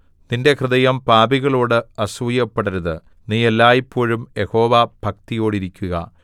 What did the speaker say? നിന്റെ ഹൃദയം പാപികളോട് അസൂയപ്പെടരുത് നീ എല്ലായ്പോഴും യഹോവഭക്തിയോടിരിക്കുക